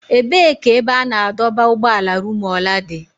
Ebee ka ebe a na-adọba ụgbọala Rumuola dị?